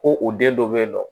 Ko u den dɔ bɛ yen nɔ